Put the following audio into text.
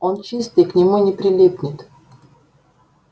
он чистый к нему не прилипнет